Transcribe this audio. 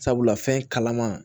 Sabula fɛn kalaman